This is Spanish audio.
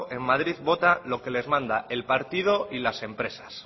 en madrid vota lo que les manda el partido y las empresas